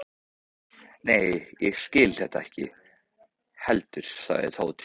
Nei, ég skil þetta ekki heldur sagði Tóti.